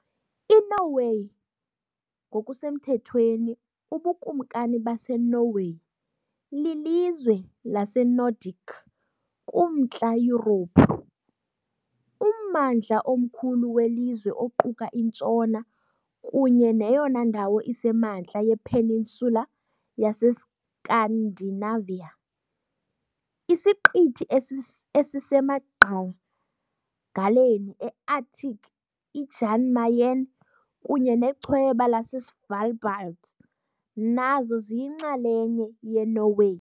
INorway, ngokusemthethweni uBukumkani baseNorway, lilizwe laseNordic kuMntla Yurophu, ummandla omkhulu welizwe oquka intshona kunye neyona ndawo isemantla yePeninsula yaseScandinavia. Isiqithi esisemagqagaleni eArctic iJan Mayen kunye nechweba laseSvalbard nazo ziyinxalenye yeNorway.